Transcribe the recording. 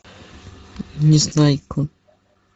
незнайка